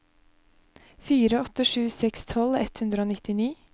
fire åtte sju seks tolv ett hundre og nittini